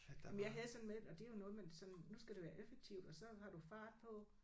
Men jeg havde sådan med at det er jo noget man sådan nu skal det være effektivt og så har du fart på